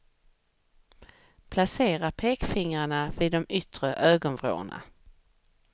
Placera pekfingrarna vid de yttre ögonvrårna.